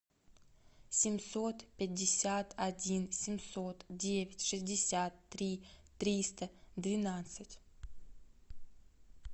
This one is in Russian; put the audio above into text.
семьсот пятьдесят один семьсот девять шестьдесят три триста двенадцать